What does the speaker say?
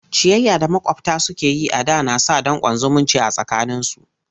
Ciyayya da maƙwabta suke yi a da na sa danƙon zumunci a tsakaninsu.